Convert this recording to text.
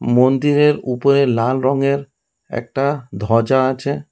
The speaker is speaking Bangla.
মন্দিরের উপরে লাল রঙের একটা ধ্বজা আছে।